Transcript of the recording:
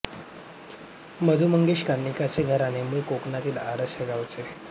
मधु मंगेश कर्णिकांचे घराणे मूळचे कोकणातील आरस या गावचे